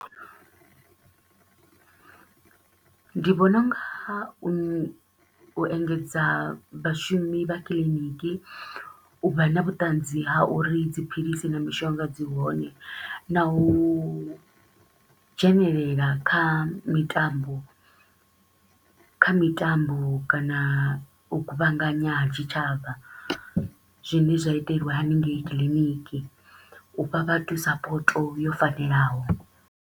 Ndi vhona u nga u u engedza vhashumi vha clinic, u vha na vhutanzi ha uri dziphilisi na mishonga dzi hone na u dzhenelela kha mitambo kha mitambo kana u kuvhanganya ha tshitshavha, zwine zwa iteliwa hanengei clinic u fha vhathu support yo fanelaho.